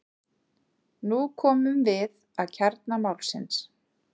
Nú komum við að kjarna málsins.